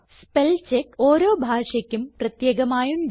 spellcheck ഓരോ ഭാഷയ്ക്കും പ്രത്യേകമായുണ്ട്